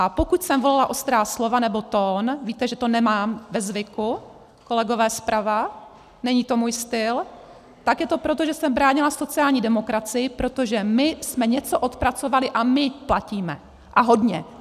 A pokud jsem volila ostrá slova nebo tón, víte, že to nemám ve zvyku, kolegové zprava, není to můj styl, tak je to proto, že jsem bránila sociální demokracii, protože my jsme něco odpracovali a my platíme, a hodně!